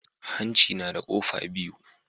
Hanci nada kofa biyu